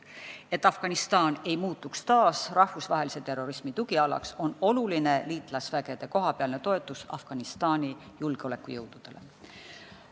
Et Afganistan ei muutuks taas rahvusvahelise terrorismi tugialaks, on oluline liitlasvägede kohapealne toetus Afganistani julgeolekujõududele.